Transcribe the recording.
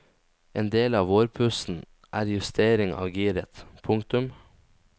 En del av vårpussen er justering av giret. punktum